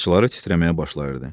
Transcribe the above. Qıçları titrəməyə başlayırdı.